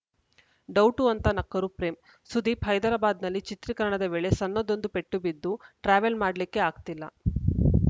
doubt ಅಂತ ನಕ್ಕರು ಪ್ರೇಮ್‌ ಸುದೀಪ್‌ ಹೈದರಾಬಾದ್‌ನಲ್ಲಿ ಚಿತ್ರೀಕರಣದ ವೇಳೆ ಸಣ್ಣದೊಂದು ಪೆಟ್ಟು ಬಿದ್ದು ಟ್ರಾವೆಲ್‌ ಮಾಡ್ಲಿಕ್ಕೆ ಆಗ್ತಿಲ್ಲ